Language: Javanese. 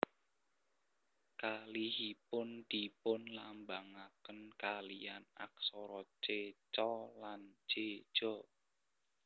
Kalihipun dipunlambangaken kaliyan aksara C Ca lan J Ja